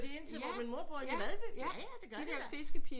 De ind til hvor min mor bor i Valdby jaja det gør de da